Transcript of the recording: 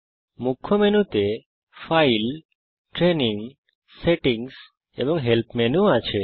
মুখ্য মেনুতে file training settings এবং হেল্প মেনু আছে